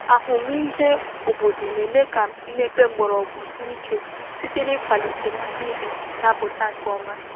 Ahụmịhe obodo na-eme ka mmepe mgbọrọgwụ sie ike site n’ịkwalite mmiri na-apụta nke ọma.